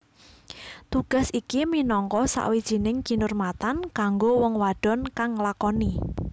Tugas iki minangka sawijining kinurmatan kanggo wong wadon kang nglakoni